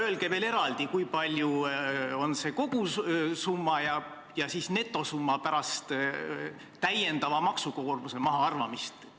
Öelge veel eraldi, kui suur on see kogusumma ja netosumma pärast täiendava maksukoormuse mahaarvamist.